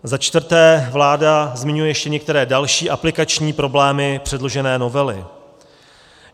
Za čtvrté, vláda zmiňuje ještě některé další aplikační problémy předložené novely.